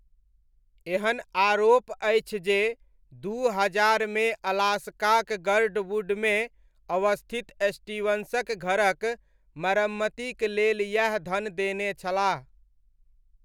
एहन आरोप अछि जे दू हजारमे अलास्काक गर्डवुडमे अवस्थित स्टीवंसक घरक मरम्मतिक लेल यैह धन देने छलाह।